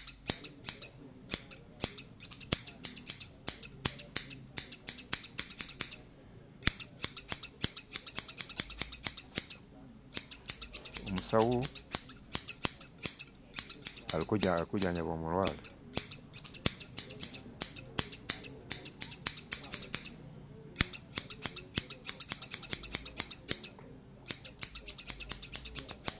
Umusawu ali kujanjaba umulwaye.